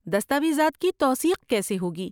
دستاویزات کی توثیق کیسے ہوگی؟